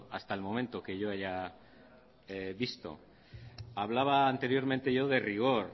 hasta el momento que yo haya visto hablaba anteriormente yo de rigor